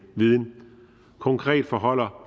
viden konkret forholder